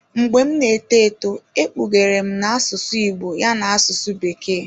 Mgbe m na-eto eto e kpughere m na asụsụ Igbo ya n'asụsụ bekee.